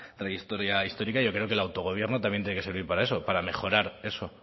trayectoria histórica yo creo que el autogobierno también tiene que servir para eso para mejorar eso